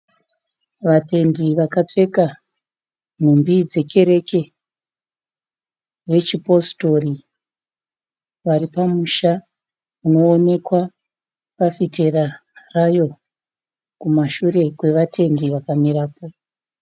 Vatendi vakapfeka nhumbi dzekerereke vechipositori. Vari pamusha unoonekwa fafitera yayo ,inoonekwa kumashure kwevatendi vakamira po.